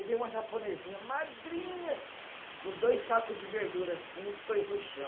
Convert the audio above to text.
Veio uma japonesinha magrinha, com dois saco de verdura assim, pôs no chão.